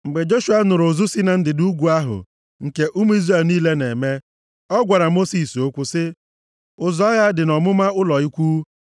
Mgbe Joshua nụrụ ụzụ si na ndịda ugwu ahụ, nke ụmụ Izrel niile na-eme, ọ gwara Mosis okwu sị, “Ụzụ agha dị nʼọmụma ụlọ ikwu.”